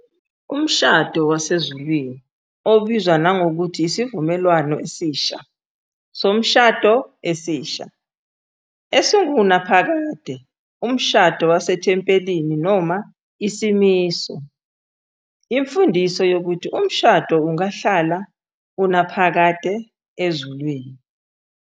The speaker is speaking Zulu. Umshado wasezulwini, obizwa nangokuthi Isivumelwano Esisha Somshado Esisha, Esingunaphakade, Umshado Wasethempelini noma Isimiso, imfundiso yokuthi umshado ungahlala unaphakade ezulwini.